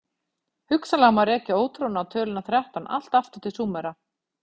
Hugsanlega má rekja ótrúna á töluna þrettán allt aftur til Súmera.